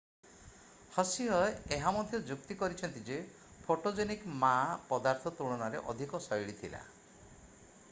ହସିହ ଏହା ମଧ୍ୟ ଯୁକ୍ତି କରିଛନ୍ତି ଯେ ଫୋଟୋଜେନିକ୍ ମା ପଦାର୍ଥ ତୁଳନାରେ ଅଧିକ ଶୈଳୀ ଥିଲା